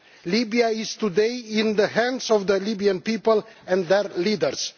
Libya is today in the hands of the Libyan people and their leaders.